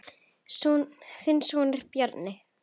Þinn sonur, Bjarni.